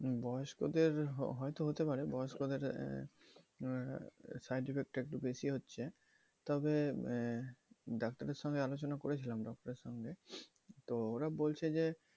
বয়স্কদের হয়তো হতে পারে বয়স্কদের side effect টা একটু বেশি হচ্ছে তবে ডাক্তারের সঙ্গে আলোচনা করেছিলাম ডক্টর এর সামনে তবে ওরা বলছে যে